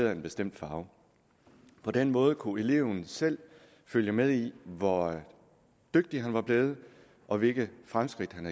en bestemt farve på den måde kunne eleven selv følge med i hvor dygtig han var blevet og hvilke fremskridt han